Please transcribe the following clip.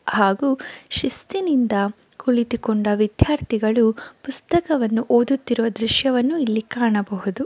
ಹಾಗೂ ಶಿಸ್ತಿನಿಂದ ಕುಳಿತುಕೊಂಡ ವಿದ್ಯಾರ್ಥಿಗಳು ಪುಸ್ತಕವನ್ನು ಓದುತ್ತಿರುವ ದೃಶ್ಯವನ್ನು ಇಲ್ಲಿ ಕಾಣಬಹುದು.